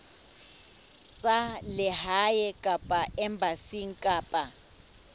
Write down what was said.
tsa lehae kapa embasing kapa